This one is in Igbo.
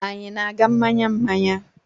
Anyị na-aga mmanya mmanya?